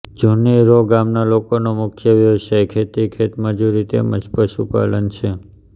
જુની રોહ ગામના લોકોનો મુખ્ય વ્યવસાય ખેતી ખેતમજૂરી તેમ જ પશુપાલન છે